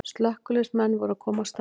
Slökkviliðsmenn voru að koma á staðinn